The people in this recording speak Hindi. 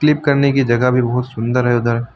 क्लीप करने की जगह भी बहोत सुंदर है उधर।